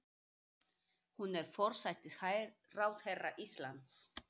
Hún er forsætisráðherra Íslands.